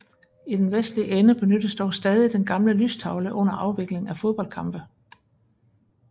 I den vestlige ende benyttes dog stadig den gamle lystavle under afvikling af fodboldkampe